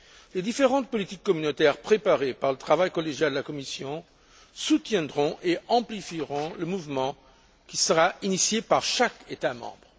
Les différentes politiques communautaires préparées par le travail collégial de la Commission soutiendront et amplifieront le mouvement qui sera initié par chaque État membre.